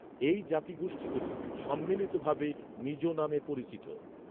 এই জাতিগোষ্ঠীগুলি সম্মিলিতভাবে, মিজো নামে পরিচিত।